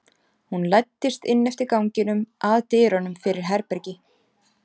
Hún læddist inn eftir ganginum, að dyrunum fyrir herbergi